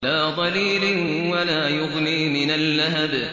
لَّا ظَلِيلٍ وَلَا يُغْنِي مِنَ اللَّهَبِ